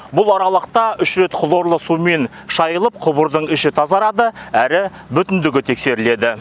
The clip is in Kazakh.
бұл аралықта үш рет хлорлы сумен шайылып құбырдың іші тазарады әрі бүтіндігі тексеріледі